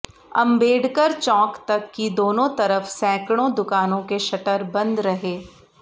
अम्बेडकर चौंक तक की दोनों तरफ सैकड़ों दुकानों के शटर बंद रहे